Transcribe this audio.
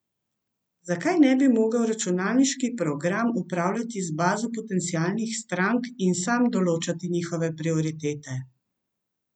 Zakaj ne bi mogel računalniški program upravljati z bazo potencialnih strank in sam določati njihove prioritete?